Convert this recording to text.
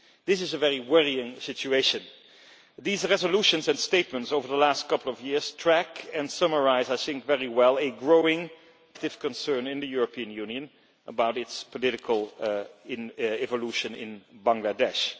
This is a very worrying situation. These resolutions and statements over the last couple of years track and summarise very well a growing collective concern in the European Union about the political evolution in Bangladesh.